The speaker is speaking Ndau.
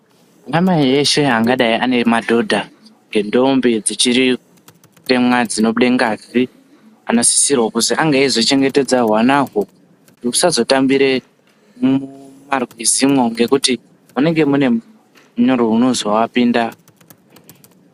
Ana mai eshe angadai ane madhodha, nendombi dzichiri kutemwa dzinobude ngazi anosisirewo kuzi ange eizochengetedzawo hwanahwo kuti husazotambire mumarwizimwo ngekuti munenge mune munyurwi unozoapinda.